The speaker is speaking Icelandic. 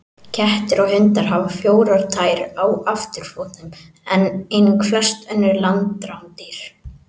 Kettir og hundar hafa fjórar tær á afturfótum, einnig flest önnur landrándýr.